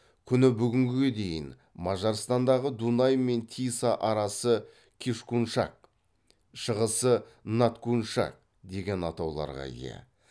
күні бүгінге дейін мажарстандағы дунай мен тиса арасы кишкуншак шығысы надкуншак деген атауларға ие